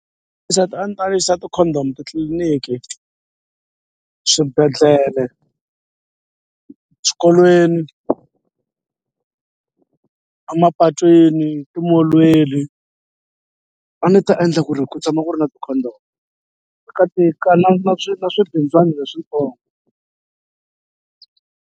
Ndzi ta a ni ta yisa ti-condom titliliniki, swibedhlele, swikolweni, a mapatwini, timolweni a ni ta endla ku ri ku tshama ku ri na ti-condom na swi na swi swibindzwana leswitsongo